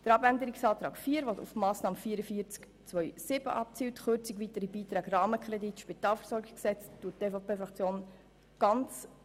Den Abänderungsantrag 4 betreffend die Massnahme 44.2.4 nimmt die EVP-Fraktion an.